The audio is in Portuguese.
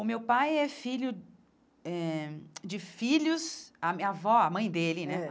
O meu pai é filho eh de filhos... A minha avó, a mãe dele, né?